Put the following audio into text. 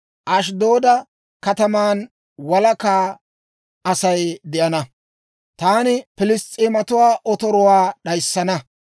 Ashddooda kataman walaka Asay de'ana. Taani, «Piliss's'eematuwaa otoruwaakka d'ayssana.